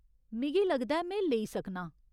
मिगी लगदा ऐ में लेईं सकनां।